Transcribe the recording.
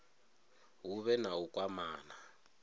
hu vhe na u kwamana